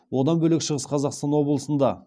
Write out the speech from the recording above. одан бөлек шығыс қазақстан облысында